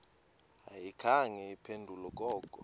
ayikhange iphendule koko